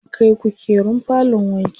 An kai kukerun falon wanki.